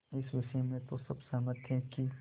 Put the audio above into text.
इस विषय में तो सब सहमत थे कि